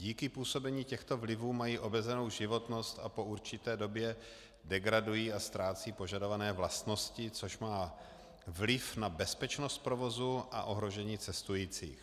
Díky působení těchto vlivů mají omezenou životnost a po určité době degradují a ztrácejí požadované vlastnosti, což má vliv na bezpečnost provozu a ohrožení cestujících.